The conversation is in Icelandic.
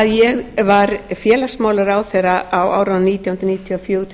að ég var félagsmálaráðherra á árunum nítján hundruð níutíu og fjögur til